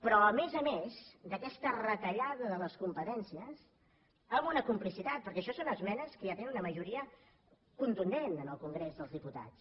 però a més a més d’aquesta retallada de les competències amb una complicitat perquè això són esmenes que ja te nen una majoria contundent en el congrés dels diputats